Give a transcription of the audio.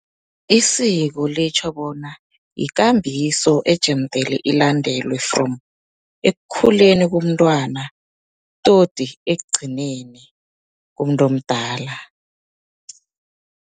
Isiko litjho bona yikambiso ejemdele ilandelwe, from ekukhuleni komntwana toti ekugcineni komuntu omdala.